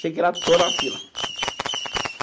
Cheguei lá, estou na fila.